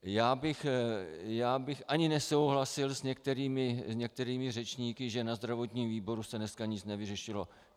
Já bych ani nesouhlasil s některými řečníky, že ve zdravotním výboru se dneska nic nevyřešilo.